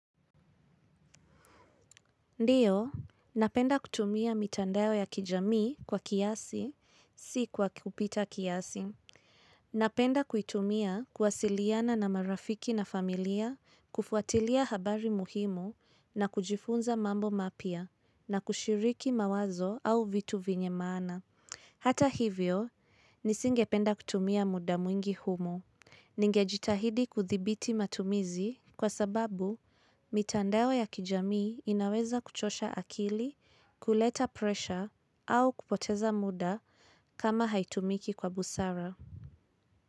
Ndiyo, napenda kutumia mitandao ya kijamii kwa kiasi, si kwa kupita kiasi. Napenda kuitumia kuwasiliana na marafiki na familia kufuatilia habari muhimu na kujifunza mambo mapya na kushiriki mawazo au vitu vyenye maana. Hata hivyo, nisingependa kutumia muda mwingi humo. Ningejitahidi kuthibiti matumizi kwa sababu, mitandao ya kijamii inaweza kuchosha akili, kuleta presha, au kupoteza muda kama haitumiki kwa busara.